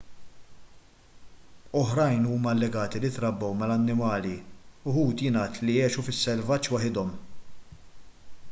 oħrajn huma allegati li trabbew mill-annimali uħud jingħad li għexu fis-selvaġġ waħedhom